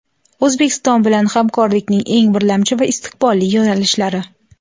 O‘zbekiston bilan hamkorlikning eng birlamchi va istiqbolli yo‘nalishlari.